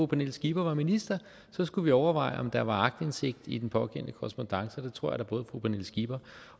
pernille skipper var minister skulle vi overveje om der var aktindsigt i den pågældende korrespondance og det tror jeg da både fru pernille skipper